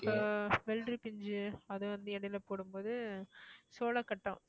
இப்ப வெள்ளரிப்பிஞ்சு அது வந்து இடையில போடும்போது சோளக்கட்டம்